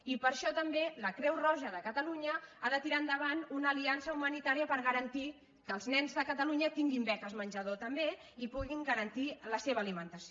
i per això també la creu roja de catalunya ha de tirar endavant una ali·ança humanitària per garantir que els nens de catalu·nya tinguin beques menjador també i puguin garantir la seva alimentació